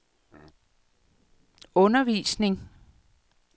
undervisning